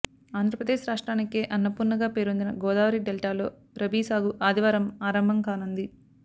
ఆంధ్రప్రదేశ్ రాష్ట్రానికే అన్నపూర్ణగా పేరొందిన గోదావరి డెల్టాలో రబీ సాగు ఆదివారం ఆరంభం కానుంది